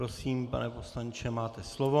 Prosím, pane poslanče, máte slovo.